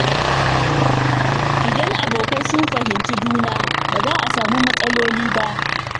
Idan abokai sun fahimci juna, ba za su samu matsaloli ba.